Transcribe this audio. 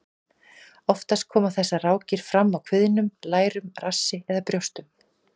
Oftast koma þessar rákir fram á kviðnum, lærum, rassi eða brjóstum.